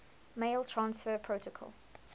mail transfer protocol